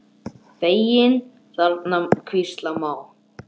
Feginn þarna hvílast má.